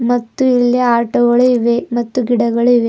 ಮತ್ತು ಇಲ್ಲಿ ಆಟೋ ಗಳು ಇವೆ ಮತ್ತು ಗಿಡಗಳು ಇವೆ.